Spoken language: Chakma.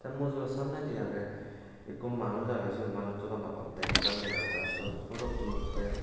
te mujuo samnedi agey ekko manuj agey siot oddek dega jaai siyot phudot tuletgey.